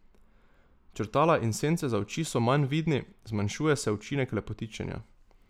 Črtala in sence za oči so manj vidni, zmanjšuje se učinek lepotičenja.